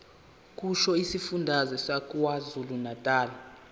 kusho isifundazwe sakwazulunatali